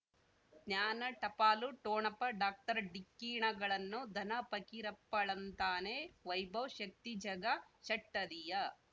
ಜ್ಞಾನ ಟಪಾಲು ಠೊಣಪ ಡಾಕ್ಟರ್ ಢಿಕ್ಕಿ ಣಗಳನು ಧನ ಫಕೀರಪ್ಪ ಳಂತಾನೆ ವೈಭವ್ ಶಕ್ತಿ ಝಗಾ ಷಟ್ಪದಿಯ